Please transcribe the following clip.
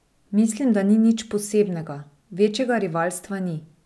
Mislim, da ni nič posebnega, večjega rivalstva ni.